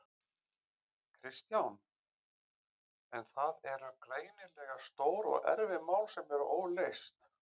Kristján: En það eru greinilega stór og erfið mál sem eru óleyst?